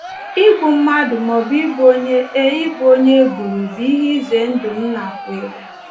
Igbu mmadụ maọbụ ịbụ onye e ịbụ onye e gburu bụ ihe ize ndụ m nakweere.